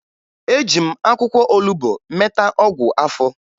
Eji m akwụkwọ olubo meta ọgwụ afọ